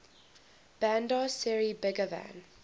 bandar seri begawan